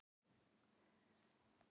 Belja rauðar blossa móður,